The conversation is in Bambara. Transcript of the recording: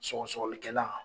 Sɔgɔsɔgɔlikɛlan.